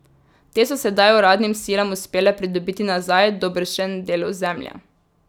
Te so sedaj uradnim silam uspele pridobiti nazaj dobršen del ozemlja.